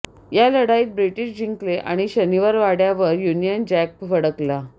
ह्या लढाईत ब्रिटिश जिंकले आणि शनिवारवाडयावर युनियन जॅक फडकला